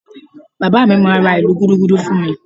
Bàbá mi máa ra ìlù Gúdúgúdú fún mi